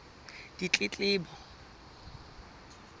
ditletlebo